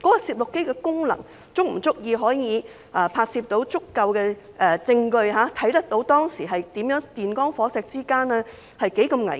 攝錄機的功能，是否足以拍攝足夠的證據，顯示當時電光火石之間多麼危險？